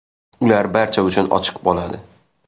Ular barcha uchun ochiq bo‘ladi.